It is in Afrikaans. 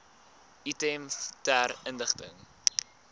item ter inligting